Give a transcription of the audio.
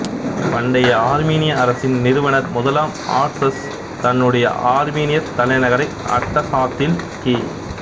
பண்டைய ஆர்மீனிய அரசின் நிறுவனர் முதலாம் ஆர்ட்ஸ்சஸ் தன்னுடைய ஆர்மீனியத் தலைநகரை அட்டசாத்தில் கி